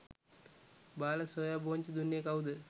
බාල සෝයා බෝංචි දුන්නේ කවුද?